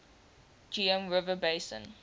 geum river basin